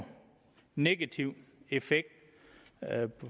negativ effekt